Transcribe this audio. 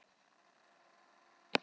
Sólgerður, hver syngur þetta lag?